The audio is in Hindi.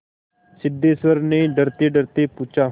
सिद्धेश्वर ने डरतेडरते पूछा